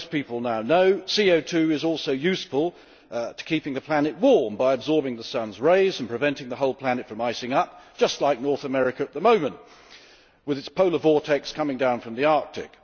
As most people now know, CO 2 is also useful in keeping the planet warm by absorbing the sun's rays and preventing the whole planet from icing up, just like North America at the moment with its polar vortex coming down from the Arctic.